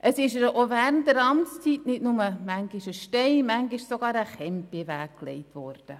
Es ist ihr auch während der Amtszeit manchmal nicht nur ein Stein, sondern manchmal sogar ein «Chemp» in den Weg gelegt worden.